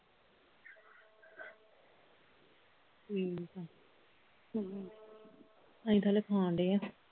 ਹਮ ਅਸੀਂ ਤਾਂ ਹਾਲੇ ਖਾਣ ਡਏ ਆ